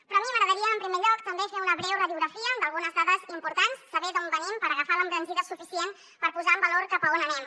però a mi m’agradaria en primer lloc també fer una breu radiografia d’algunes dades importants saber d’on venim per agafar l’embranzida suficient per posar en valor cap a on anem